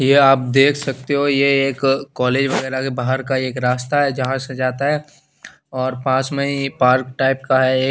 ये आप देख सकते हो ये एक कोलेग वगेरा के बाहर का एक रास्ता है जहा से जाता है और पास में ही पार्क टाइप का है एक--